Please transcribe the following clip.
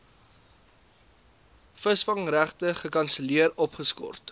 visvangregte gekanselleer opgeskort